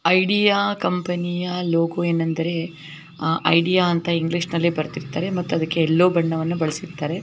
Idea ಕಂಪನಿಯ logo ಏನೆಂದರೆ ಆ ಐಡಿಯಾ ಇಂಗ್ಲಿಷ್ ಅಲ್ಲೇ ಬರದಿರತ್ತರೆ ಮತ್ತು ಅದಕೆ ಯೆಲ್ಲೋ ಬಣ್ಣವನ್ನ ಬಳಸಿರತ್ತರೆ.